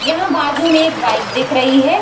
यहाँ बाजु में एक बाइक दिख रही है।